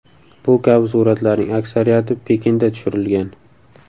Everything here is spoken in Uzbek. Bu kabi suratlarning aksariyati Pekinda tushirilgan.